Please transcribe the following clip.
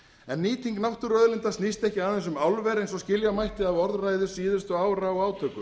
en nýting náttúruauðlinda snýst ekki aðeins um álver eins og skilja mætti af orðræðu síðustu ára og átökum